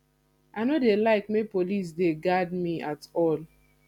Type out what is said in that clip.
i no dey like make police dey guard me at all